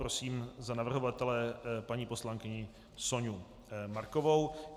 Prosím za navrhovatele paní poslankyni Soňu Markovou.